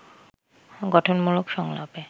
গঠনমূলক সংলাপে